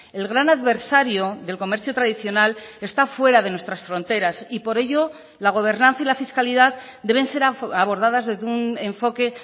el gran adversario del comercio tradicional está fuera de nuestras fronteras y por ello la gobernanza y la fiscalidad deben ser abordadas desde un enfoque